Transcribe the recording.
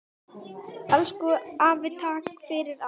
Elsku afi takk fyrir allt.